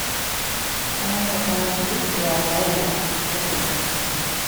в твоем каталоге есть сериал дарья часть один